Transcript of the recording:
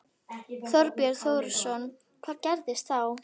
Þorbjörn Þórðarson: Hvað gerist þá?